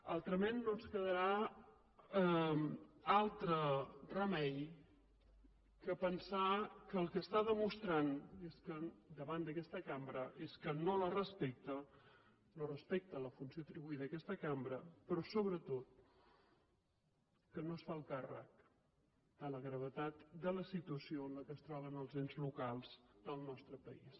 altrament no ens quedarà altre remei que pensar que el que està demostrant davant d’aquesta cambra és que no la respecta no respecta la funció atribuïda a aquesta cambra però sobretot que no es fa el càrrec de la gravetat de la situació en què es troben els ens locals del nostre país